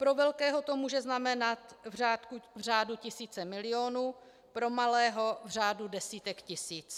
Pro velkého to může znamenat v řádu tisíce milionů, pro malého v řádu desítek tisíc.